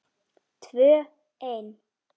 Tvö ein.